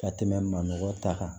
Ka tɛmɛ manɔgɔ ta